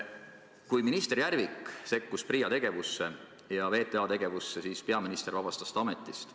Kui minister Järvik sekkus PRIA ja VTA tegevusse, siis peaminister vabastas ta ametist.